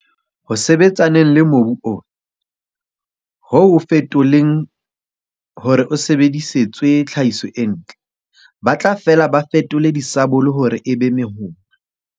Ho sebetsaneng le mobu ona, ho o fetoleng hore o sebedisetswe tlhahiso e ntle, ba tla fela ba fetole disabole hore e be mehoma.